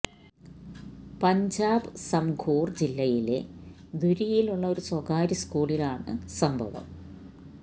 പഞ്ചാബ് സംഗ്റൂർ ജില്ലയിലെ ധുരിയിലുള്ള ഒരു സ്വകാര്യ സ്കൂളിലാണ് സംഭവം